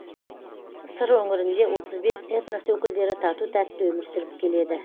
сыр өңірінде отыз бес этнос өкілдері тату тәтті өмір сүріп келеді